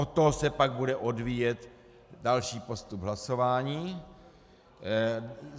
Od toho se pak bude odvíjet další postup hlasování.